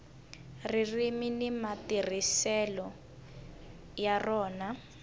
ririmi ni matirhiselo ya rona